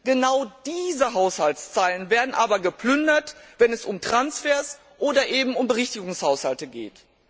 Genau diese Haushaltszeilen werden aber geplündert, wenn es um Transfers oder um Berichtigungshaushalte geht.